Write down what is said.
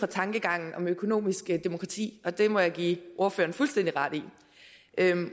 tankegangen om økonomisk demokrati og det må jeg give ordføreren fuldstændig ret i